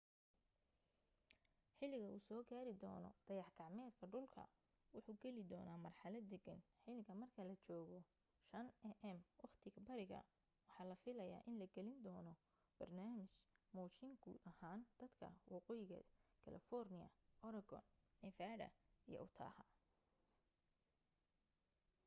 xiliga uu soo gaari doona dayax gacmeedka dhulka wuxuu geli doona marxalad degan xiliga marka la joogo 5am waqtiga bariga waxaa la filaya in la gelin doona barnaamij muujin guud ahaan dadka waqooyiga california oregon nevada iyo utah